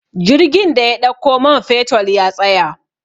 jirgin da ya ɗauko manfetol ya tsaya